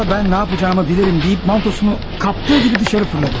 O da mən nə edəcəyimi bilərəm deyib, paltosunu qapıb çölə atıldı.